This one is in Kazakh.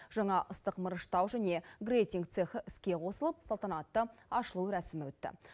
жаңа ыстық мырыштау және грейтинг цехы іске қосылып салтанатты ашылу рәсімі өтті